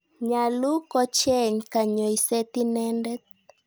Nyalu kocheng' kanyoiset inendet.